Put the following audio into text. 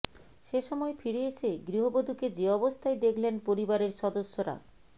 সে সময় ফিরে এসে গৃহবধূকে যে অবস্থায় দেখলেন পরিবারের সদস্যরা